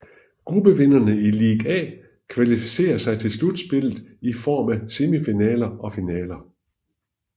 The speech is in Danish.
Gruppevinderne i League A kvalificerer sig til slutspillet i form af semifinaler og finale